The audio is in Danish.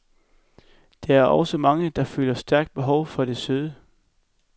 Der er nu også mange, der føler stærkt behov for det søde.